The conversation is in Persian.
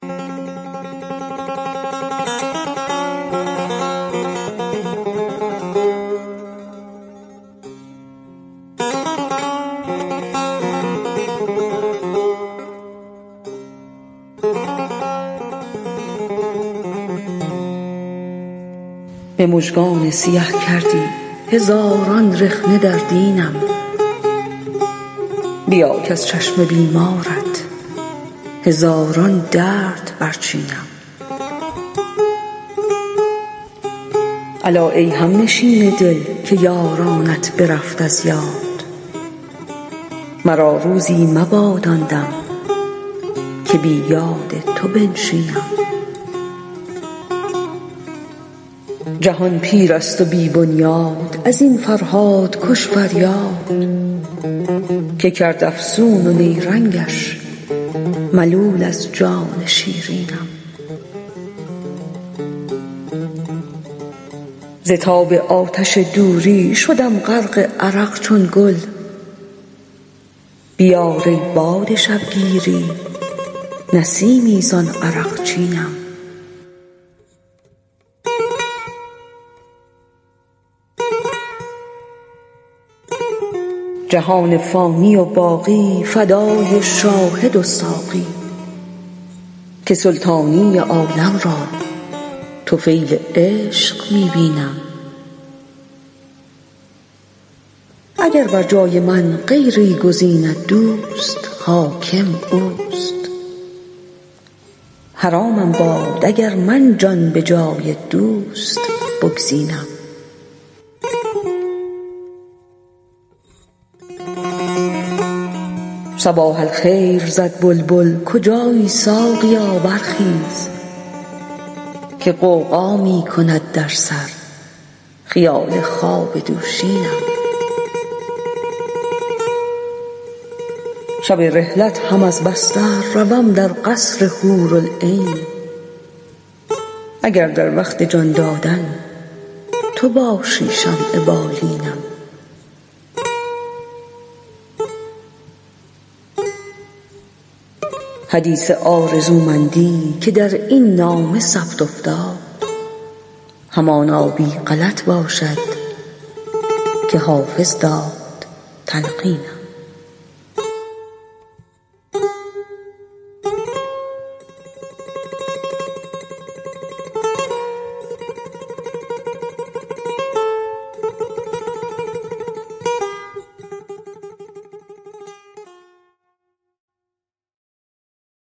به مژگان سیه کردی هزاران رخنه در دینم بیا کز چشم بیمارت هزاران درد برچینم الا ای همنشین دل که یارانت برفت از یاد مرا روزی مباد آن دم که بی یاد تو بنشینم جهان پیر است و بی بنیاد از این فرهادکش فریاد که کرد افسون و نیرنگش ملول از جان شیرینم ز تاب آتش دوری شدم غرق عرق چون گل بیار ای باد شبگیری نسیمی زان عرقچینم جهان فانی و باقی فدای شاهد و ساقی که سلطانی عالم را طفیل عشق می بینم اگر بر جای من غیری گزیند دوست حاکم اوست حرامم باد اگر من جان به جای دوست بگزینم صباح الخیر زد بلبل کجایی ساقیا برخیز که غوغا می کند در سر خیال خواب دوشینم شب رحلت هم از بستر روم در قصر حورالعین اگر در وقت جان دادن تو باشی شمع بالینم حدیث آرزومندی که در این نامه ثبت افتاد همانا بی غلط باشد که حافظ داد تلقینم